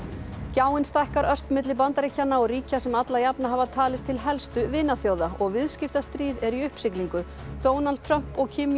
gjáin stækkar ört á milli Bandaríkjanna og ríkja sem alla jafna hafa talist til helstu vinaþjóða og viðskiptastríð er í uppsiglingu Donald Trump og Kim